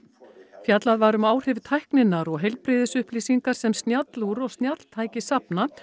fjallað var um áhrif tækninnar og heilbrigðisupplýsingar sem snjallúr og snjalltæki safna